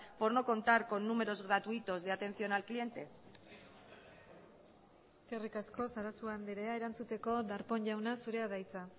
por no contar con números gratuitos de atención al cliente eskerrik asko sarasua andrea erantzuteko darpón jauna zurea da hitza